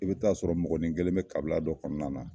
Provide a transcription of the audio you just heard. I bɛ taa sɔrɔ mɔgɔni kelen bɛ kabila dɔ kɔnɔna na.